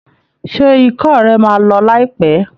Ṣé ikọ́ rẹ̀ máa lọ láìpẹ́?